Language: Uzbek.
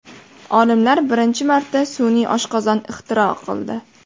Olimlar birinchi marta sun’iy oshqozon ixtiro qildi.